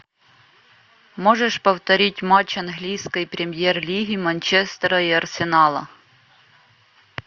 можешь повторить матч английской премьер лиги манчестера и арсенала